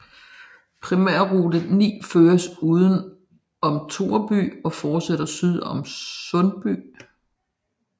Primærrute 9 føres uden om Toreby og fortsætter syd om Sundby